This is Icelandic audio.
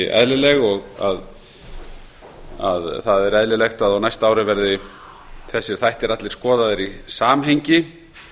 eðlileg það er eðlilegt að á næsta ári verði þessir þættir allir skoðaðir í samhengi